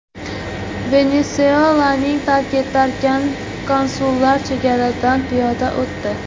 Venesuelaning tark etarkan, konsullar chegaradan piyoda o‘tdi.